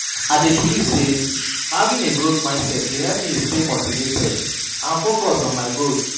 I dey believe say having a growth mindset dey help me stay motivated and focused on my goals.